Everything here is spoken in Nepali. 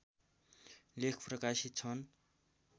लेख प्रकाशित छन्